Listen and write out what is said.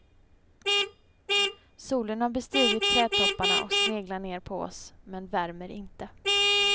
Solen har bestigit trädtopparna och sneglar ner på oss, men värmer inte.